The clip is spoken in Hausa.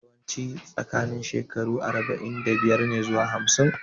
Yawanci tsakanin shekaru arba'in da biyar ne zuwa hamsin